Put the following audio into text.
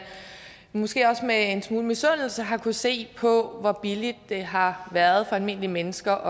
måske også med en smule misundelse har kunnet se på hvor billigt det har været for almindelige mennesker